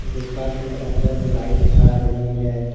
गुफा के अंदर लाइट आ रही है।